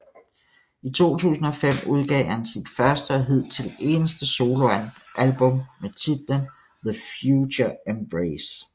I 2005 udgav han sit første og hidtil eneste soloalbum med titlen TheFutureEmbrace